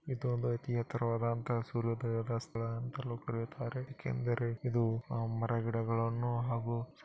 ಇದು ಒಂದು ರೀತಿಯ ಎತರವಾದಂತಹ ಸೂರ್ಯೋದಯದ ಸ್ಥಳ ಅಂತಾಲು ಕರೆಯುತಾರೆ ಏಕ ಅಂದರೆ ಇದು ಮರ ಗಿಡಗಳನ್ನು ಹಾಗು --